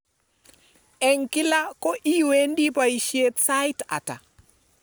eng kila ko iwendi boishet sait ata